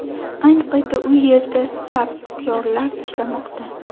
Ayni paytda u yerda sapyorlar ishlamoqda.